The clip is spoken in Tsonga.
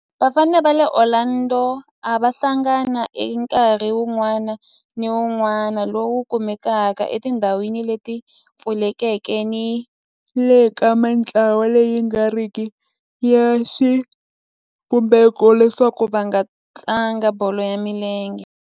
Vafana va le Orlando a va hlangana eka nkarhi wun'wana ni wun'wana lowu kumekaka etindhawini leti pfulekeke ni le ka mintlawa leyi nga riki ya xivumbeko leswaku va tlanga bolo ya milenge.